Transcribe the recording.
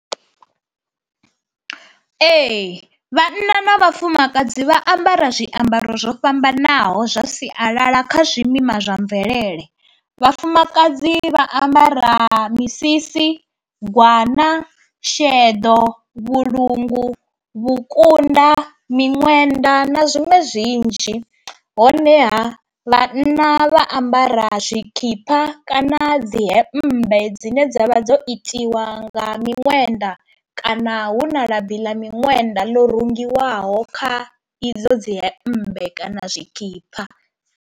Ee vhanna na vhafumakadzi vha ambara zwiambaro zwo fhambanaho zwa sialala kha zwimima zwa mvelele. Vhafumakadzi vha ambara misisi, gwana, sheḓo, vhulungu, vhukunda miṅwenda na zwiṅwe zwinzhi honeha vhanna vha ambara zwikipa kana dzi hembe dzine dzavha dzo itiwa nga minwenda kana hu na labi ḽa miṅwenda ḽo rengiwaho kha idzo dzi hemmbe kana zwikhipha.